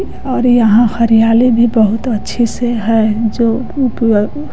और यहाँ हरियाली भी बहुत अच्छी से है जो --